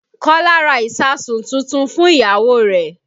Kọ́lá ra ìsáàsùn tuntun fún ìyàwó rẹ̀